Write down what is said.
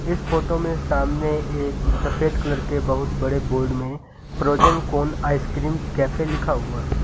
इस फोटो में सामने एक सफेद कलर के बहुत बड़े बोर्ड में फ्रोजन कोन आइसक्रीम्स कैफे लिखा हुआ है।